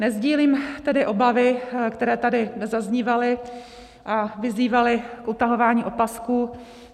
Nesdílím tedy obavy, které tady zaznívaly a vyzývaly k utahování opasků.